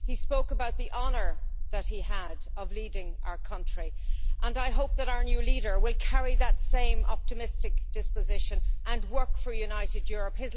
He spoke about the honour that he had of leading our country, and I hope that our new leader will carry that same optimistic disposition and work for a united Europe.